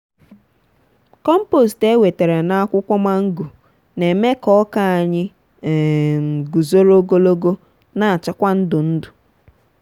kompost ewetere na akwụkwọ mango na eme ka ọka anyị um guzoro ogologo na acha kwa ndụ ndụ.